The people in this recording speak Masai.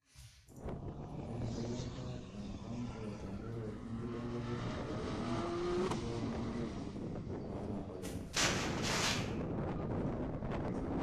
ore empikata empango tenkaraki enkibelekenyata oloingange temurua na ene maana oleng.